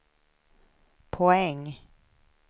poäng